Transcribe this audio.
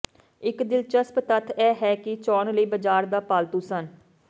ਇੱਕ ਦਿਲਚਸਪ ਤੱਥ ਇਹ ਹੈ ਕਿ ਚੋਣ ਲਈ ਬਜ਼ਾਰ ਦਾ ਪਾਲਤੂ ਸਨ